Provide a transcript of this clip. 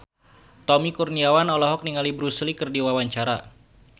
Tommy Kurniawan olohok ningali Bruce Lee keur diwawancara